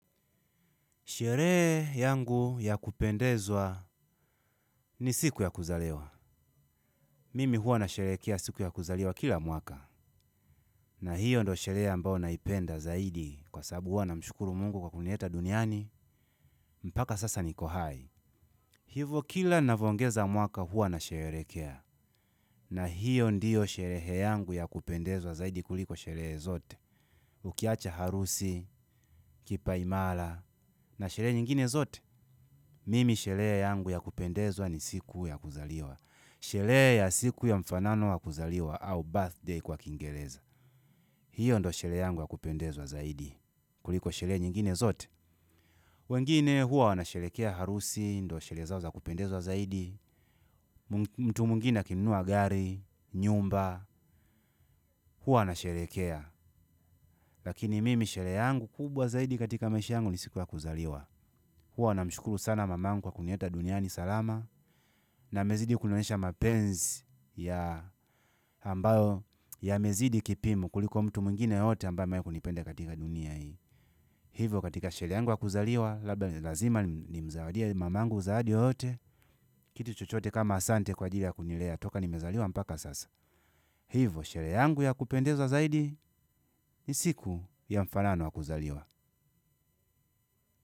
Sherehe yangu ya kupendezwa, ni siku ya kuzaliwa. Mimi huwa nasherehekea siku ya kuzaliwa kila mwaka. Na hiyo ndo sherehe ambao naipenda zaidi kwa sabu huwa namshukuru mungu kwa kunileta duniani. Mpaka sasa niko hai. Hivo kila navoongeza mwaka huwa na sherehekea, na hiyo ndiyo sherehe yangu ya kupendezwa zaidi kuliko sherehe zote, ukiacha harusi, kipa imala, na sherehe nyingine zote. Mimi sherehe yangu ya kupendezwa ni siku ya kuzaliwa, sherehe ya siku ya mfanano wa kuzaliwa au birthday kwa kiingeleza. Hiyo ndo sherehe yangu ya kupendezwa zaidi kuliko sherehe nyingine zote. Wengine huwa wanasherehekea harusi, ndo sherehe zao za kupendezwa zaidi, mtu mwingine akinunua gari, nyumba, huwa wanasherehekea. Lakini mimi sherehe yangu kubwa zaidi katika maisha yangu ni siku ya kuzaliwa. Huwa namshukulu sana mamangu wa kunileta duniani salama, na amezidi kunionyesha mapenzi ya ambayo yamezidi kipimo kuliko mtu mwingine yeyote ambae kunipenda katika dunia hii. Hivo katika sherehe yangu ya kuzaliwa labda ni lazima nimzawadie mamangu zawadi yoyote. Kitu chochote kama asante kwa ajili ya kunilea toka nimezaliwa mpaka sasa. Hivo sherehe yangu ya kupendeza zaidi, ni siku ya mfanano wa kuzaliwa.